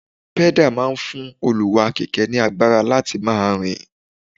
pẹ́dà máa ń fún olúwá-kẹ̀kẹ́ ní agbára láti máa rìn